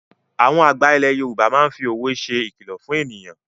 Àwọn àgbà ilẹ̀ Yorùbá máa fi òwe ṣe ìkìlọ̀ fún èyàn.